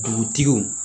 Dugutigiw